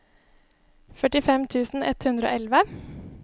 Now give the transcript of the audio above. førtifem tusen ett hundre og elleve